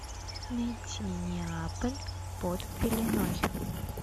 найти неаполь под пеленой